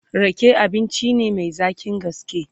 Rake abinci ne Mai zaƙin gaske